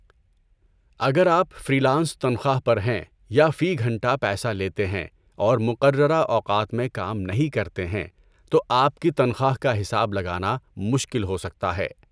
اگر آپ freelance تنخواہ پر ہیں یا فی گھنٹہ پیسہ لیتے ہیں اور مقررہ اوقات میں کام نہیں کرتے ہیں، تو آپ کی تنخواہ کا حساب لگانا مشکل ہو سکتا ہے۔